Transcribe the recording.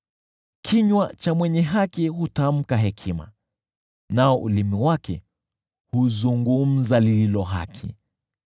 Kinywa cha mwenye haki hutamka hekima, nao ulimi wake huzungumza lililo haki.